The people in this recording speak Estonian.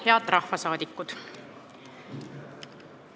Head rahvasaadikud!